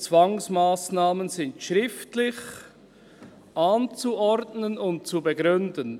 «Zwangsmassnahmen sind schriftlich anzuordnen und zu begründen».